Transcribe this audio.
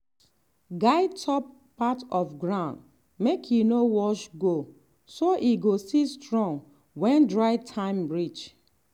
guard top part of ground make e no wash go so e go still strong when dry time reach.